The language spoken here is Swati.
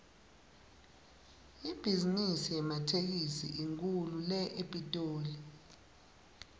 ibhizimisi yematekisi inkhulu la epitoli